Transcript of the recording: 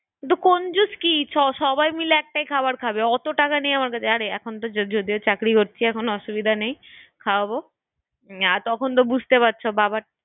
কিন্তু কঞ্জুস কি সবাই মিলে একটাই খাবার খাবে অতো টাকা নেই আমার কাছে আর এখন তো যদিও যে চাকরি করছি এখন অসুবিধা নেই, খাওয়াবো আর তখন তো বুঝতেই পারছো হ্যাঁ হ্যাঁ দেখবো দেখবো? বাবার